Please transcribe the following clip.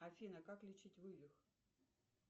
афина как лечить вывих